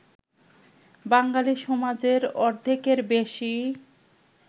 বাঙালি সমাজের অর্ধেকের বেশি